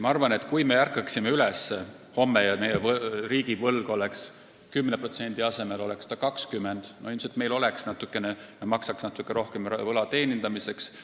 Ma arvan, et kui me ärkaksime homme üles ja meie riigivõlg oleks 10% asemel 20%, siis me maksaksime ilmselt natuke rohkem võla teenindamiseks.